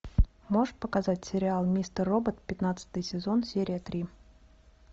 можешь показать сериал мистер робот пятнадцатый сезон серия три